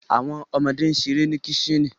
Awọn ọmọde n ṣere ni kicten